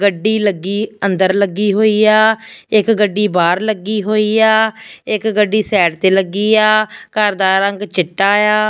ਗੱਡੀ ਲੱਗੀ ਅੰਦਰ ਲੱਗੀ ਹੋਈ ਆ ਇੱਕ ਗੱਡੀ ਬਾਹਰ ਲੱਗੀ ਹੋਈ ਆ ਇੱਕ ਗੱਡੀ ਸਾਈਡ ਤੇ ਲੱਗੀ ਆ ਘਰ ਦਾ ਰੰਗ ਚਿੱਟਾ ਆ।